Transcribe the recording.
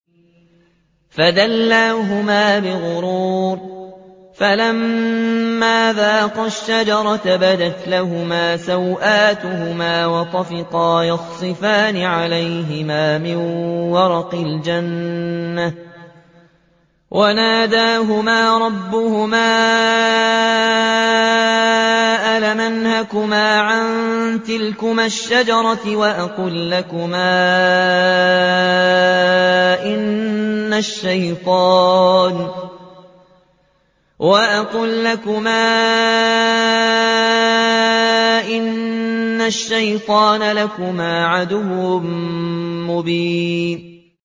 فَدَلَّاهُمَا بِغُرُورٍ ۚ فَلَمَّا ذَاقَا الشَّجَرَةَ بَدَتْ لَهُمَا سَوْآتُهُمَا وَطَفِقَا يَخْصِفَانِ عَلَيْهِمَا مِن وَرَقِ الْجَنَّةِ ۖ وَنَادَاهُمَا رَبُّهُمَا أَلَمْ أَنْهَكُمَا عَن تِلْكُمَا الشَّجَرَةِ وَأَقُل لَّكُمَا إِنَّ الشَّيْطَانَ لَكُمَا عَدُوٌّ مُّبِينٌ